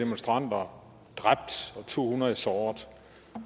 demonstranter dræbt og to hundrede såret